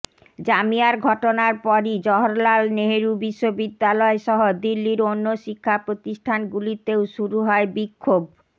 জামিয়ার ঘটনার পরই জওহরলাল নেহরু বিশ্ববিদ্যালয় সহ দিল্লির অন্য শিক্ষা প্রতিষ্ঠানগুলিতেও শুরু হয় বিক্ষোভ